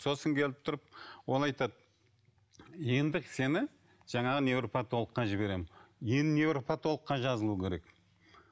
сосын келіп тұрып ол айтады енді сені жаңағы невропотологқа жіберемін енді невропотологқа жазылу керек